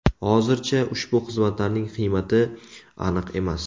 Hozircha ushbu xizmatlarning qiymati aniq emas.